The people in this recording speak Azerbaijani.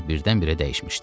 Aşpaz birdən-birə dəyişmişdi.